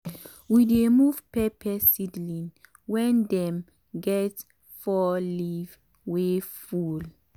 we dey move pepper seedling wen dem get four leaf wey full.